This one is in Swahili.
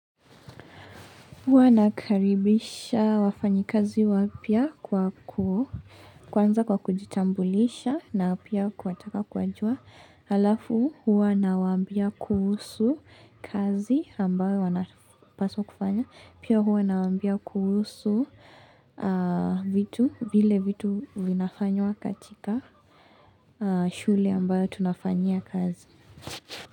Huwa nakaribisha wafanyi kazi wapya kwa kwanza kwa kujitambulisha na pia kuwataka kuwajua. Halafu, huwa nawaambia kuhusu kazi ambayo wanapaswa kufanya. Pia huwa nawambia kuhusu vile vitu vinafanywa katika shule ambayo tunafanyia kazi.